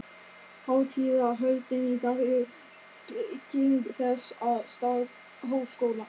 Hátíðahöldin í dag eru trygging þess, að starf Háskóla